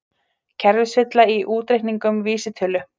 Kerfisvilla í útreikningum vísitölu